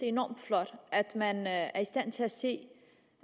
enormt flot at man er i stand til at se